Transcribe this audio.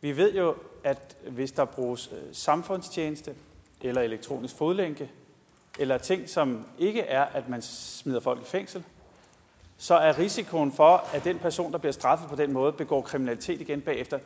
vi ved jo at hvis der bruges samfundstjeneste eller elektronisk fodlænke eller ting som ikke er at man smider folk i fængsel så er risikoen for at den person der bliver straffet på den måde begår kriminalitet igen bagefter